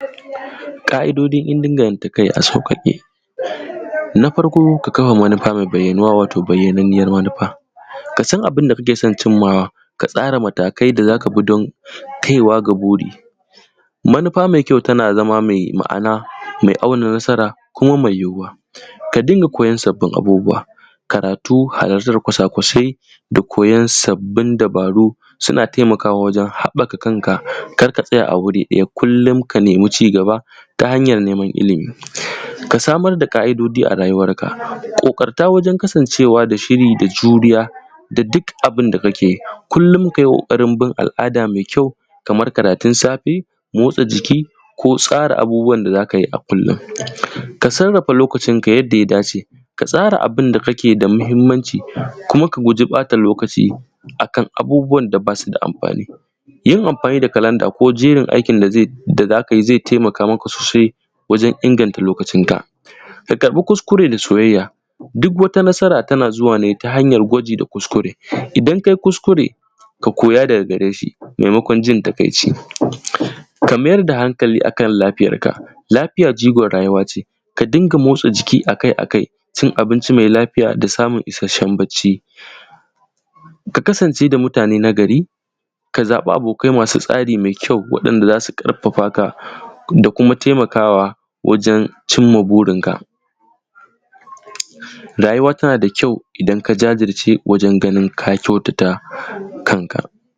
ƙa'idojin inganta kai a sauƙaƙe. Na farko ka kama manufa mai bayyanuwa, wato bayyananniyar manufa. Ka san abun da kake son cimma wa. Ka tsara matakai da za ka bi don kaiwa ga buri. Manufa mai kyau tana zama mai ma'ana, mai auna nasara kuma mai yiwuwa. Ka dinga koyon sabbin abubuwa, karatu halartar kwasa-kwasai, da koyon sabbin dabaru. Suna taimakawa wajen haɓɓaka kanka, kar ka tsaya a wuri ɗaya kullum ka nemi ci gaba ta hanyar neman ilimi, Ka samar da ƙa'idoji a rayuwarka. ƙoƙarta wajen kasancewa da shiri da juriya da duk abin da kake. Kullum ka yi ƙoƙarin bin al'ada mai kyau, kamar karatun safe, motsa jiki ko tsara abubuwan da za ka yi a kullum. Ka sarrafa lokacinka yadda ya dace, ka tsara abin da yake da mahimmanci, kuma ka guji bata lokaci akan abubuwan da ba su da amfani. Yin amfani da kalanda ko jerin aikin da za ka yi, zai taimaka sosai wajen inganta lokacinka. Ka karɓi kuskure da soyayya, duk wata nasara tana zuwa ne ta hanyar gwaji da kuskure. Idan ka yi kuskure ka koya daga gare shi, maimakon jin takaici. Ka mayar da hankali kan lafiyarka, lafiya jigon rayuwa ce. Ka dinga motsa jiki a-kai-a-kai, cin abinci mai lafiya, da samun isasshen bacci. Ka kasance da mutane na gari, ka zaɓi abokai masu tsari mai kyau, waɗanda za su ƙarfafa ka da kuma taimakawa wajen cimma burinka. Rayuwa tana da kyau idan ka jajirce wajen ganin ka kyautata kanka.